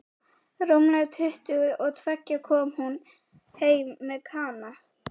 Rúmlega tuttugu og tveggja kom hún heim með Kana.